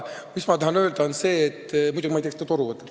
Muidugi, ma ei tea, kas ta toru võtab.